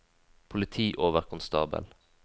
politioverkonstabel